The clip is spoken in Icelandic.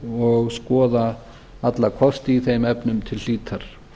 og skoða alla kosti í þeim efnum til hlítar